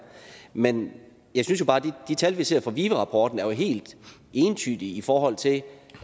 men jeg synes jo bare at de tal vi ser i vive rapporten jo er helt entydige i forhold til